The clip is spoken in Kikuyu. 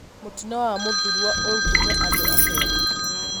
Mũtino wa Mũthurũa ũrutite andũ atia?